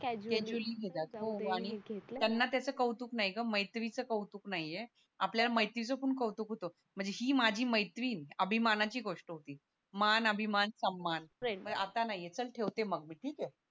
त्त्यांना त्याच कौतुक नाही ग मैत्रीचं कौतुक नाहीये आपल्याला मैत्रीचं पण कौतुक होत म्हणजे ही माझी मैत्रीण अभिमानाची गोष्ट होती मान अभिमान सम्मान आत्ता नाहीये चल ठेवते मग मी ठीके